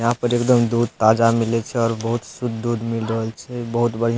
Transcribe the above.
यहां पर एकदम दूध ताजा मिले छै और बहुत शुद्ध दूध मिल रहल छै बहुत बढ़िया --